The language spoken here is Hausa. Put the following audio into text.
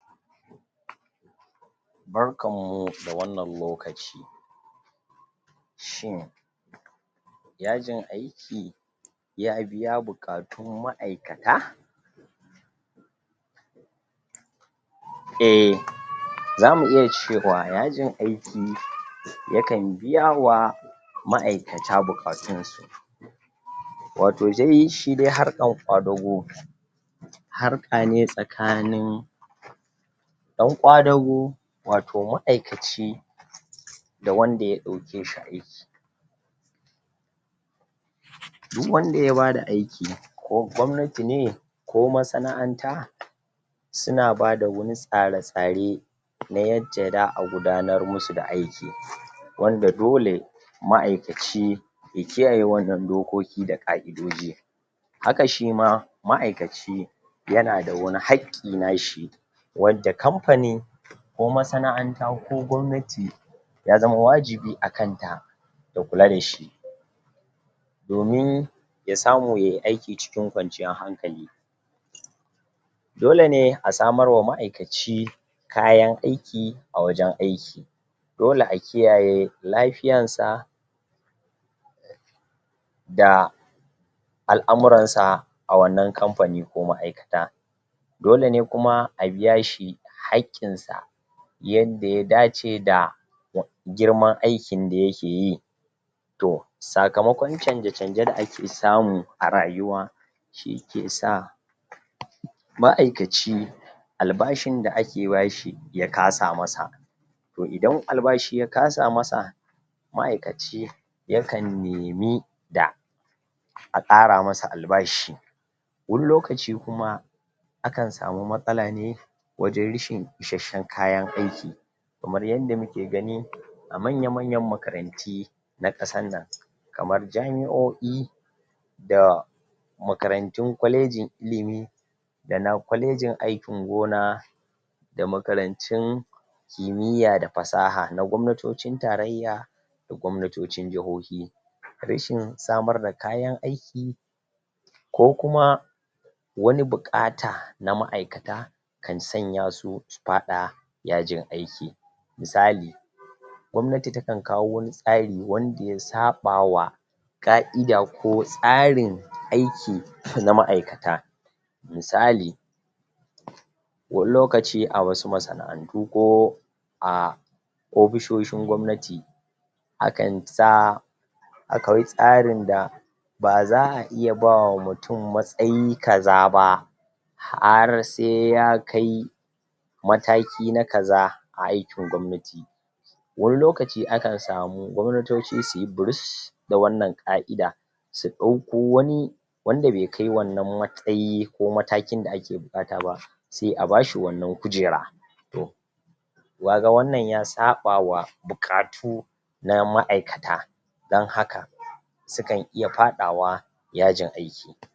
Barkanmu da wannan lokaci shin yajin aiki ya biya buƙatun ma'aikata eh, zamu iya cewa, yajin aiki yakan biyawa ma'aikata buƙatunsu wato dai, shidai harkan ƙwadago harka ne tsakanin ɗan ƙwadago, wato ma'aikaci da wanda ya ɗauke shi aiki duk wanda ya bada aiki, ko gwamnati ne, ko masana'anta suna bada wani tsare-tsare na yacca za a gudanar musu da aiki wanda dole ma'aikaci ya kiyaye wannan dokoki da ƙa'idoji haka shima ma'aikaci yanada wani haƙƙi nashi wanda kamfani ko masana'anta ko gwamnati ya zama wajibi a kanta ya kula dashi domin ya samu yai aiki cikin kwanciyar hankali dole ne a samarwa ma'aikaci kayan aiki a wajen aiki dole a kiyaye lafiyansa da al'amuransa a wannan kamfani ko ma'aikata dole ne kuma a biyashi haƙƙinsa yanda ya dace da girman aikin da yakeyi to, sakamakon canje-canje da ake samu a rayuwa shi ike sa ma'aikaci albashin da ake bashi, ya kasa masa to idan albashi ya kasa masa ma'aikaci yakan nemi da a ƙara masa albashi wani lokaci kuma akan samu matsala ne wajen rashin ishashshen kayan aiki kamar yanda muke gani a manya-manyan makaranti na ƙasar nan kamar jami'o'i da makarantun kwalejin ilimi dana kwalejin aikin gona da makarantun kimiyya da fasaha na gwamnatocin tarayya da gwamnatocin jihohi rashin samar da kayan aiki ko kuma wani buƙata na ma'aikata kan sanya su, su faɗa yajin aiki misali gwamnati takan kawo wani tsari wanda ya saɓawa ƙa'ida ko tsarin aiki na ma'aikata misali wani lokaci a wasu masana'antu ko a ofishoshin gwamnati akan sa akwai tsarin da ba za a iya bawa mutum matsayi kaza ba har sai ya kai mataki na kaza a aikin gwamnati wani lokaci akan samu gwamnatoci suyi burus da wannan ƙa'ida su ɗauko wani wanda be kai wannan matsayi ko matakin da ake buƙata ba se a bashi wannan kujera to kaga wannan ya saɓawa buƙatu na ma'aikata don haka sukan iya faɗawa yajin aiki